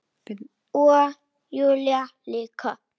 Kastaði upp í alla nótt.